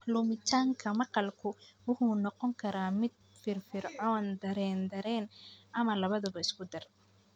Lumitaanka maqalku wuxuu noqon karaa mid firfircoon, dareen-dareen, ama labadaba isku-dar.